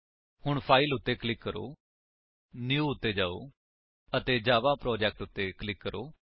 ਹੁਣ ਫਾਈਲ ਉੱਤੇ ਕਲਿਕ ਕਰੋ ਨਿਊ ਉੱਤੇ ਜਾਓ ਅਤੇ ਜਾਵਾ ਪ੍ਰੋਜੈਕਟ ਉੱਤੇ ਕਲਿਕ ਕਰੋ